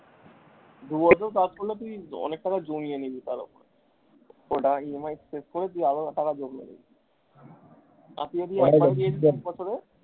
দু বছর কাজ করলে তুই অনেক টাকা জমিয়ে নিবি তালে তোর বাড়ির EMI শেষ করে তুই আর ও টাকা জমিয়ে নিবি।